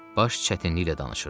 Baş çətinliklə danışırdı.